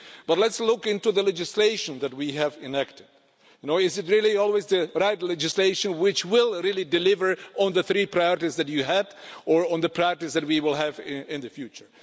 But let's look into the legislation that we have enacted is it really always the right legislation which will really deliver on the three priorities that you had or on the priorities that we will have in the future?